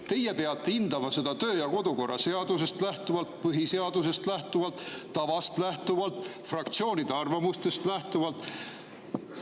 Teie peate hindama seda töö- ja kodukorra seadusest lähtuvalt, põhiseadusest lähtuvalt, tavast lähtuvalt, fraktsioonide arvamustest lähtuvalt.